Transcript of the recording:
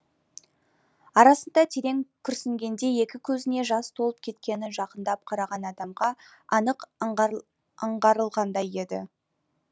арасында терең күрсінгенде екі көзіне жас толып кеткені жақындап қараған адамға анық аңғарылғандай еді